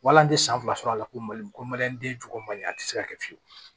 Wala an tɛ san fila sɔrɔ a la ko mali ko den jugu man di a tɛ se ka kɛ fiyewu